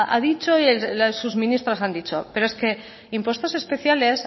ha dicho que sus ministros han dicho pero es que impuestos especiales